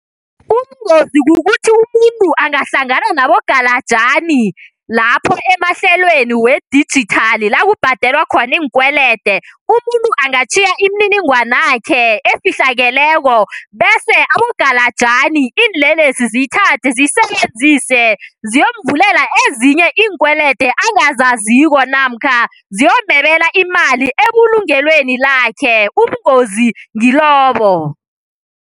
Ubungozi kukuthi umuntu angahlangana nabogalajani lapho emahlelweni we-digital lakubhadelwa khona iinkwelede. Umuntu angatjhiya imininingwanakhe efihlakeleko bese abogalajani, iinlelesi ziyithathe ziyisebenzise ziyomvulela ezinye iinkwelede angazaziko namkha ziyomebela imali ebulungelweni lakhe. Ubungozi ngilobo.